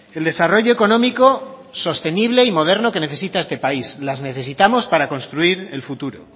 el desarrollo económico sostenible y moderno que necesita este país las necesitamos para construir el futuro